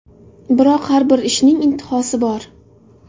Biroq har bir ishning intihosi bor.